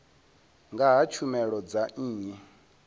nga ha tshumelo dza nnyi